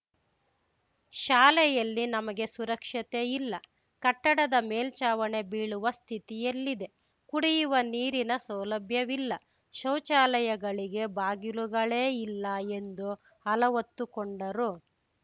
ಶಾಲೆಯಲ್ಲಿ ನಮಗೆ ಸುರಕ್ಷತೆ ಇಲ್ಲ ಕಟ್ಟಡದ ಮೇಲ್ಛಾವಣಿ ಬೀಳುವ ಸ್ಥಿತಿಯಲ್ಲಿದೆ ಕುಡಿಯುವ ನೀರಿನ ಸೌಲಭ್ಯವಿಲ್ಲ ಶೌಚಾಲಯಗಳಿಗೆ ಬಾಗಿಲುಗಳೇ ಇಲ್ಲ ಎಂದು ಅಲವತ್ತುಕೊಂಡರು